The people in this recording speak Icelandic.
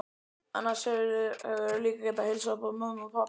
Annars hefðirðu líka getað heilsað upp á mömmu og pabba.